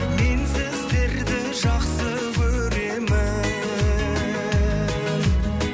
мен сіздерді жақсы көремін